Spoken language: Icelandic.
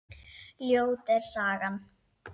Ljót er sagan.